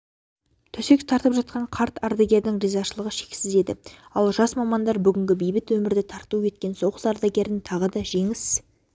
төсек тартып жатқан қарт ардагердің ризашылығы шексіз еді ал жас мамандар бүгінгі бейбіт өмірді тарту еткен соғыс ардагерін тағы да жеңіс